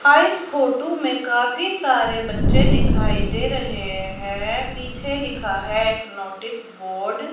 हां इस फोटू में काफी सारे बच्चे दिखाई दे रहे हैं पीछे लिखा है एक नोटिस बोर्ड --